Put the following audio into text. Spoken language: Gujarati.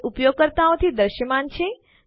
તે ઉપયોગકર્તાઓ થી દૃશ્યમાન છે